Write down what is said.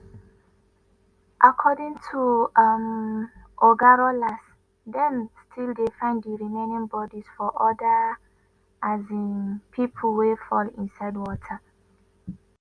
according to um oga rollas dem still dey find di remaining bodies of oda um pipo wey fall inside water.